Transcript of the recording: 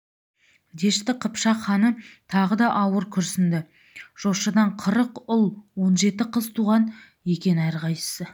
дәшті қыпшақ ханы тағы да ауыр күрсінді жошыдан қырық ұл он жеті қыз туған екен әрқайсысы